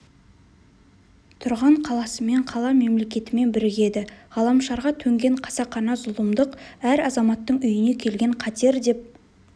тұрған қаласымен қала мемлекетімен бірігеді ғаламшарға төнген қасақана зұлымдық әр азаматтың үйіне келген қатер деп